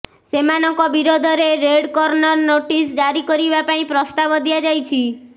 ସେମାନଙ୍କ ବିରୋଧରେ red corner notice ଜାରି କରିବା ପାଇଁ ପ୍ରସ୍ତାବ ଦିଆଯାଇଛି